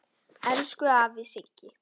Elsku afi Siggi.